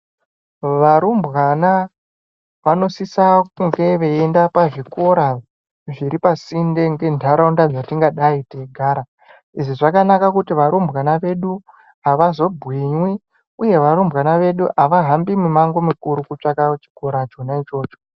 Varumbwana vanosisa kunge veienda pazvikora zviri pasi ngendaraunda yatingadai teigara izvi zvakanaka kuti varumbwana vedu avazogwinywi uye varumbwana vedu avazohambi mumango mukuru kutsvaka chikora ichona ichocho .